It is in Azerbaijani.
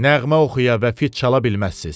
Nəğmə oxuya və fit çala bilməzsiniz.